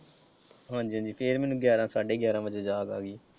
ਹਾਂਜ਼ੀ ਹਾਂਜ਼ੀ ਫਿਰ ਮੈਨੂੰ ਗਿਆਰਾਂ ਸਾਢੇ ਗਿਆਰਾਂ ਵਜੇ ਜਾਗ ਆਈ।